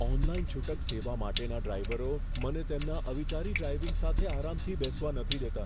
Online છૂટક સેવા માટેના ડ્રાઈવરો મને તેમના અવિચારી ડ્રાઈવિંગ સાથે આરામથી બેસવા નથી દેતા.